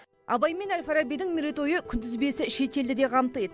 абай мен әл фарабидің мерейтойы күнтізбесі шетелді де қамтиды